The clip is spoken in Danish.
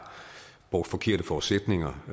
brugt forkerte forudsætninger